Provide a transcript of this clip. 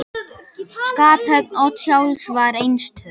Skaphöfn Odds sjálfs var einstök.